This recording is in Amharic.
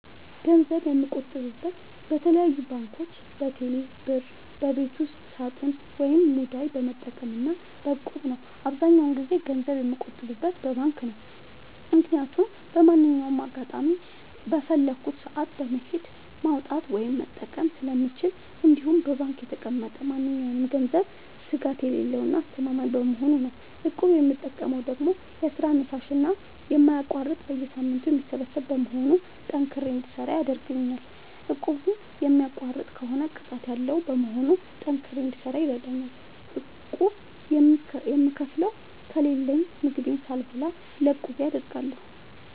ገንዘብ የምቆጥበው በተለያዩ ባንኮች÷በቴሌ ብር ÷በቤት ውስጥ ሳጥን ወይም ሙዳይ በመጠቀም እና በ እቁብ ነው። አብዛኛውን ጊዜ ገንዘብ የምቆጥበው በባንክ ነው። ምክያቱም በማንኛውም አጋጣሚ በፈለኩት ሰአት በመሄድ ማውጣት እና መጠቀም ስለምችል እንዲሁም በባንክ የተቀመጠ ማንኛውም ገንዘብ ስጋት የሌለው እና አስተማማኝ በመሆኑ ነው። እቁብ የምጠቀመው ደግሞ ለስራ አነሳሽና የማይቋረጥ በየሳምንቱ የሚሰበሰብ በመሆኑ ጠንክሬ እንድሰራ ያደርገኛል። እቁቡን የሚቋርጥ ከሆነ ቅጣት ያለዉ በመሆኑ ጠንክሬ እንድሰራ ይረደኛል። ቁብ የምከፍለው ከሌለኝ ምግቤን ሳልበላ ለቁቤ አደርጋለሁ።